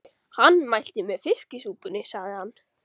Hann mælti með fiskisúpunni, sagði hann.